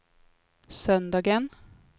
söndagen